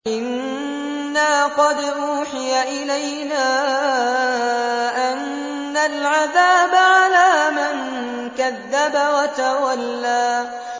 إِنَّا قَدْ أُوحِيَ إِلَيْنَا أَنَّ الْعَذَابَ عَلَىٰ مَن كَذَّبَ وَتَوَلَّىٰ